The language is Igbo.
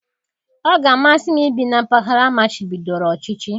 Ọ ga-amasị m ibi na mpaghara amachibidoro ọchịchị.